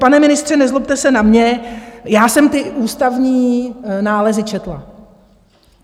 Pane ministře, nezlobte se na mě, já jsem ty ústavní nálezy četla.